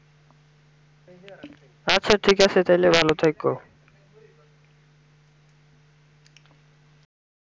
আচ্ছা ঠিকাছে তালে ভালো থেকো